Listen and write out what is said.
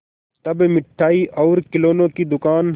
तब मिठाई और खिलौने की दुकान